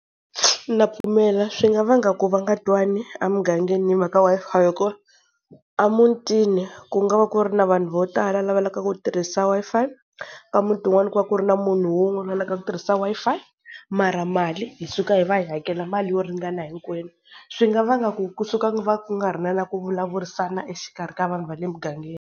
Na pfumela. Swi nga vanga ku va nga twani a mugangeni hi mhaka Wi-Fi hi ku a mutini ku nga va ku ri na vanhu vo tala lava lavaku ku tirhisa Wi-Fi, ka muti un'wana ku va ku ri na munhu un'wana la lavaka ku tirhisa Wi-Fi. Mara mali hi suka hi va hakela mali yo ringana hinkwenu. Swi nga vanga ku kusuka va ku nga ri na na ku vulavurisana exikarhi ka vanhu va le mugangeni.